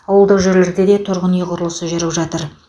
ауылдық жерлерде де тұрғын үй құрылысы жүріп жатыр